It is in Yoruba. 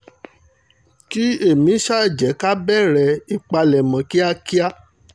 kí èmi ṣáà jẹ́ ká bẹ̀rẹ̀ ìpalẹ̀mọ́ kíákíá